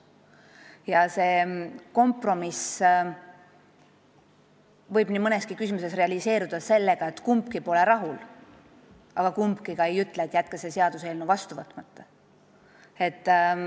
Ja see kompromiss võib nii mõneski küsimuses realiseeruda nii, et kumbki pole rahul, aga kumbki ka ei ütle, et jätke see seaduseelnõu vastu võtmata.